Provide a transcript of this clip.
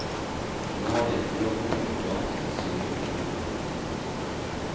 Nå har de et uavhengig organ som er synlig for kundene. punktum